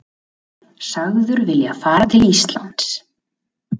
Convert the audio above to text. Sagður vilja fara til Íslands